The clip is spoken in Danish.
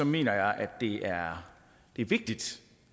mener jeg at det er vigtigt